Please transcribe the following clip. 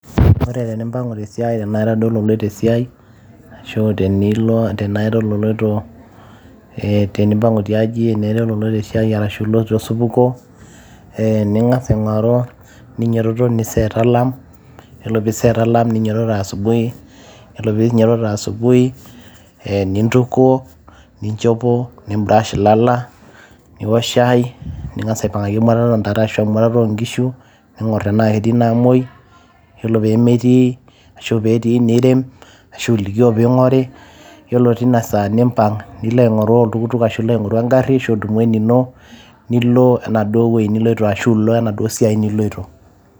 ore tenimpang'u tesiai tenaa ira duo ololoito esiai ashu tenilo, tenaira ololoito eh, tenimpang'u tiaji tenaa ira ololoito esiai arashu iloito osupuko eh, ning'as aing'oru eh ninyototo niset alarm yiolo piiset [ccs]alarm ninyototo asubui yiolo pinyototo asubui nintukuo ninchopo nim brush ilala niwok shai ning'as aipang'aki emutata ontare ashu emuatata onkishu ning'orr tenaa ketii namuoi yiolo pemetii ashu petii nirem ashu ilikio piing'ori yiolo tina saa nimpang nilo aing'oru oltukutuk ashu ilo aing'oru engarri ashu idumu enino nilo enaduo wueji niloito ashu ilo enaduo siai niloito.